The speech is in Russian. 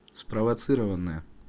спровоцированная